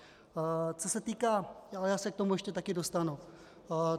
Co se týká - ale já se k tomu ještě taky dostanu.